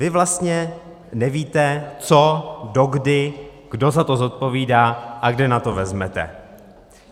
Vy vlastně nevíte, co, dokdy, kdo za to zodpovídá a kde na to vezmete.